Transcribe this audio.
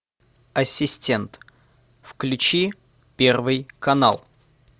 ассистент включи первый канал